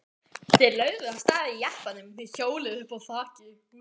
Þeir lögðu af stað í jeppanum með hjólið uppá þaki.